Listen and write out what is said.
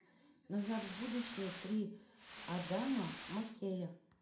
назад в будущее три адама маккея